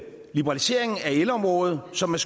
liberalisering af elområdet som er